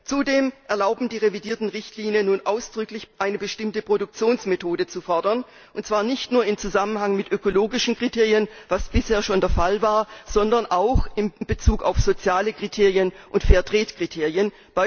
Zudem erlauben die revidierten Richtlinien nun ausdrücklich, eine bestimmte Produktionsmethode zu fordern, und zwar nicht nur im Zusammenhang mit ökologischen Kriterien, was bisher schon der Fall war, sondern auch in Bezug auf soziale Kriterien und Fair Trade Kriterien.